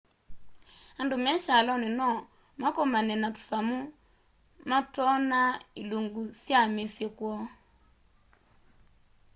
andu me kyaloni no makomane na tusamu mat'oona ilunguni sya misyi kwoo